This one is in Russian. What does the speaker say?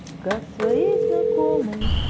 как своей знакомой